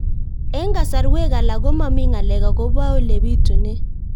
Eng' kasarwek alak ko mami ng'alek akopo ole pitunee